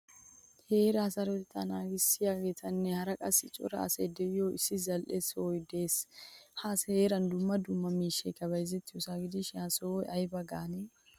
Heeraa sarotetta naagisiyagettinne hara qassi cora asay de'iyo issi zal'iyosa de'ees. Ha heeran dumma dumma miishshaykka bayzzettiyosa gidishin ha sohuwaa ayba gaanee?